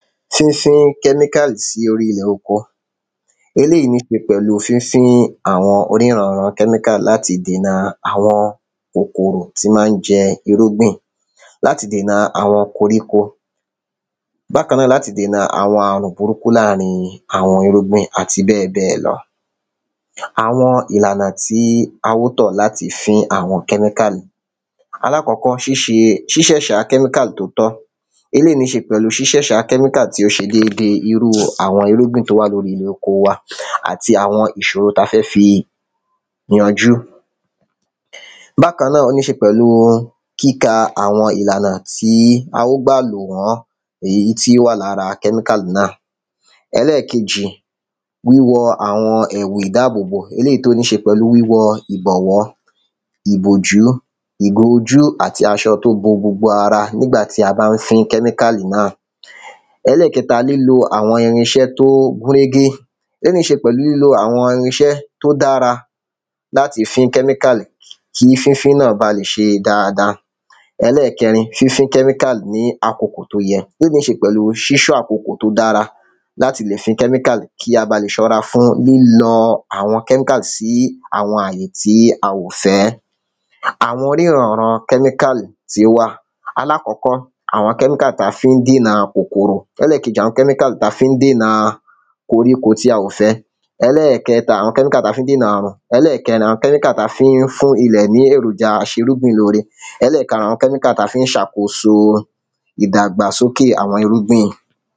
Fínfín kẹ́míkàlì sí orí ilẹ̀ oko ó lè nípe pẹ̀lú fínfín àwọn orírun àwọn kẹ́míkálì láti dèna àwọn kòkòrò tí má ń jẹ irúgbìn láti dèna àwọn koríko. Bákan náà láti dèna àwọn àrùn burúkú láàrin àwọn irúgbìn àti bẹ́ẹ̀ bẹ́ẹ̀ lọ. Àwọn ìlànà tí á ó tọ̀ láti fín àwọn kẹ́míkàlì alákọ̀kọ́ ṣíṣè ṣíṣẹ̀ ṣa kẹ́míkàlì tó tán eléèyí ní ṣe pẹ̀lú ṣíṣẹ̀ ṣà kẹ́míkàlì tí ó ṣe déédé irú àwọn irúgbìn tó wà lórí ilẹ̀ oko wa àti àwọn ìṣòro tá fẹ́ fi yanjú. Bákan náà ó níṣe pẹ̀lú kíka àwọn ìlànà tí á ó gbà lò wọ́n èyí tí ó wà lára kẹ́míkàlì náà. Ẹlẹ́ẹ̀kejì wíwọ àwọn èwù ìdáàbòbò eléèyí tó níṣe pẹ̀lú wíwọ ìbọ̀wọ́ ìbòjú ìbo ojú àti aṣọ tó bo gbogbo ara nígbà tí a bá ń fín kẹ́míkàlì náà. Ẹlẹ́ẹ̀kẹta nínú àwọn irinṣẹ́ tó gúnrégé ó ní ṣe pẹ̀lú àwọn irinṣẹ́ tó dára láti fín kẹ́míkàlì kí fínfín náà bá lè ṣe dáada. Ẹlẹ́ẹ̀kẹrin fínfín lẹ́míkàlì ní àkokò tó yẹ ó ní ṣe pẹ̀lú ṣíṣọ́ àkokò tó dára láti lè fín kẹ́míkàlì kí á bá lè rọra fín mímọ àwọn kẹ́míkàlì sí àwọn àyẹ̀ tí a ò fẹ́. Àwọn oníran ran kẹ́míkàlì tí ó wà aláàkọ́kọ́ àwọn kẹ́míkà tá fi ń dínà kòkòrò ẹlẹ́ẹ̀kejì àwọn kẹ́míkà tá fi ń dínà koríko tí a ò fẹ́ ẹ. Ẹlẹ́ẹ̀kejì àwọn kẹ́míkà tá fi ń dínà àrùn. Ẹlẹ́ẹ̀kẹrin àwọn kẹ́míkà tá fi ń fún ilẹ̀ ní èròjà afúrúgbìn lóore. Ẹlẹ́ẹ̀karùn kẹ́míkà tá fi ń ṣàkóso ìdàgbà sókè àwọn irúgbìn.